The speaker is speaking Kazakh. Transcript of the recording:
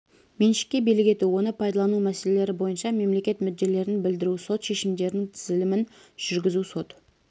меншікке билік ету оны пайдалану мәселелері бойынша мемлекет мүдделерін білдіру сот шешімдерінің тізілімін жүргізу сот